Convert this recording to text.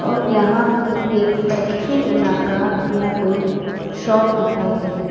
और यहां एक फैक्ट्री इलाका या कोई शॉप दिखाई दे रहे--